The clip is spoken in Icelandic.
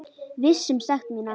Viss um sekt mína.